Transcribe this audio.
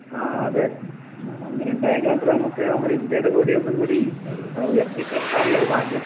ആഹ് അതെ. അങ്ങിനെ ഇണ്ടായെങ്കി മാത്രമേ നമുക്ക് നമ്മുടെ ഇന്ത്യയുടെ കൊടിയൊന്നുംകൂടി ഉയർത്തി കെട്ടാൻ ഉള്ള ഒരു ഭാഗ്യം